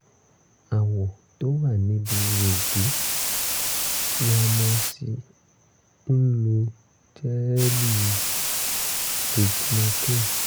awọ tó wà níbi ihò ìdí ya mo sì ń lo jẹ́ẹ̀lì lignocaine